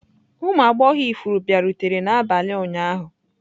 Ụmụ agbọghọ ifuru bịarutere n'abalị ụnyaahụ?